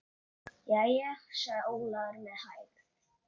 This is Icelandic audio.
Jæja, sagði Ólafur með hægð.